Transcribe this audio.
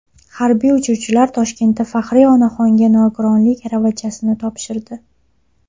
Harbiy uchuvchilar Toshkentda faxriy onaxonga nogironlik aravachasini topshirdi.